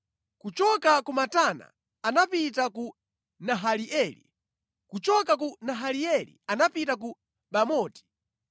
Kuchoka ku Matana anapita ku Nahalieli, kuchoka ku Nahalieli anapita ku Bamoti,